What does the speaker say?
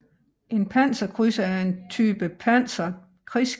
En panserkrydser er en type pansret krigsskib